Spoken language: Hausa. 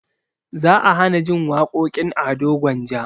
Za a hanajin waƙoƙin ado gwanja